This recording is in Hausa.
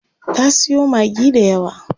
Ta siyo Maggi dayawa.